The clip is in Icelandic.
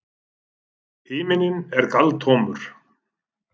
Himinninn er galtómur.